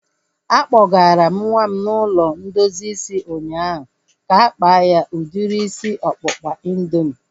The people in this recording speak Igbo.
A kpọgara m nwa m ụlọ ndozi isi ụnyaahụ ka-akpa ya udiri isi ọkpụkpa indoomị